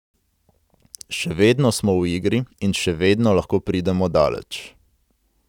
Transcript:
Še vedno smo v igri in še vedno lahko pridemo daleč.